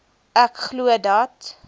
ek glo dat